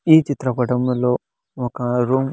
ఒక చిత్ర పటములో ఒక రూమ్ .